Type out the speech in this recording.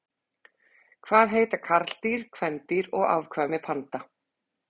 Hvað heita karldýr, kvendýr og afkvæmi panda?